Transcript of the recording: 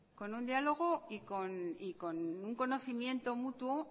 con un diálogo y con un conocimiento mutuo